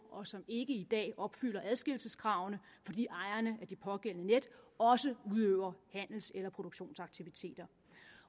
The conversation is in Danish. og som ikke i dag opfylder adskillelseskravene fordi ejerne af det pågældende net også udøver handels eller produktionsaktiviteter